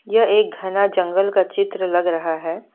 यह एक घना जंगल का चित्र लग रहा है।